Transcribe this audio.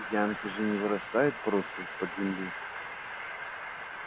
янки же не вырастают просто из-под земли